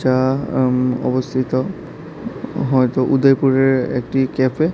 আঃ উম অবশ্যই তা হয়তো উদয়পুরের এ-একটি ক্যাফে